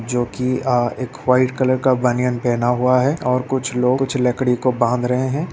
जोकि अ एक वाइट कलर का बनियान पहना हुआ है और कुछ लोग कुछ लकड़ी को बांध रहें हैं।